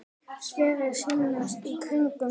Sverðið snýst í kringum mig.